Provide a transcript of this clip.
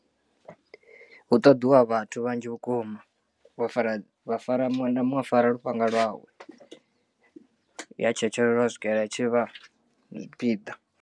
Hu ṱoḓiwa vhathu vhanzhi vhukuma vho fara vha fara muṅwe na muṅwe a fara lufhanga lwawe ya tshetshelelwa u swikelela i tshivha zwipiḓa.